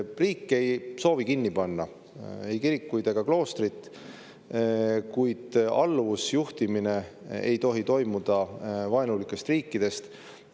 Riik ei soovi kinni panna ei kirikuid ega kloostrit, kuid alluvusjuhtimine ei tohi toimuda vaenulikest riikidest.